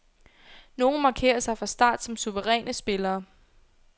Nogle markerer sig fra start som suveræne spillere.